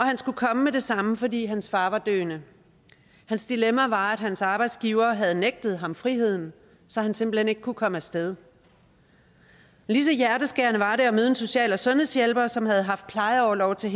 han skulle komme med det samme fordi hans far var døende hans dilemma var at hans arbejdsgiver havde nægtet ham friheden så han simpelt hen ikke kunne komme af sted lige så hjerteskærende var det at møde en social og sundhedshjælper som havde haft plejeorlov til